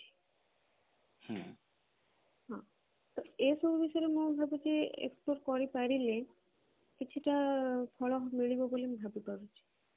ହଁ ତ ଏଇ ବିଷୟରେ ମୁଁ ଭାବୁଛି କରି ପାରିଲେ କିଛି ଟା ଫଳ ମିଳିବ ବୋଲି ମୁଁ ଭାବିପାରୁଛି